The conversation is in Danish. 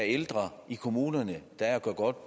ældre i kommunerne